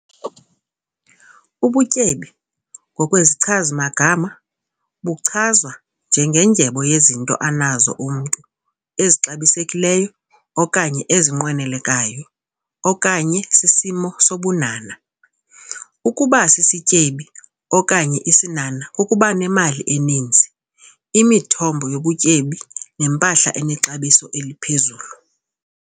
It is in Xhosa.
Ubutyebi, ngokwesichazi-magama, buchazwa njengendyebo yezinto anazo umntu ezixabisekileyo okanye ezinqwenelekayo okanye sisimo sobunhanha. Ukuba sisityebi okanye isinhanha kukuba nemali eninzi, imithombo yobutyebi nempahla enexabiso eliphezulu.